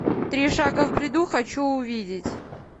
три шага в бреду хочу увидеть